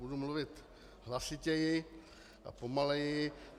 Budu mluvit hlasitěji a pomaleji.